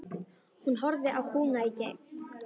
Hún horfði á kúna í keng.